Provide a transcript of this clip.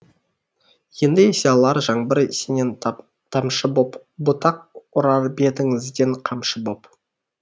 енді есе алар жаңбыр сенен тамшы боп бұтақ ұрар бетіңізден қамшы боп